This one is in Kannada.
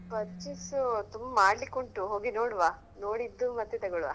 Purchase ಸು ತುಂಬ್‌ ಮಾಡ್ಲಿಕುಂಟು ಹೋಗಿ ನೋಡ್ವಾ ನೋಡಿದ್ದು ಮತ್ತೆ ತಗೋಲ್ವಾ.